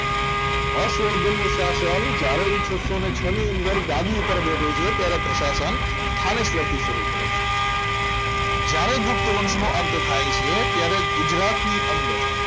હર્ષવર્ધનનું શાસન જ્યારે એ છસો ને છો ની અંદર ગાદી પર બેસે છે ત્યારે પ્રશાસન રામેશ્વર થી શરૂ કરે છે જ્યારે ગુપ્ત વંશ નો અંત થાય છે ત્યારે ગુજરાતની અંદર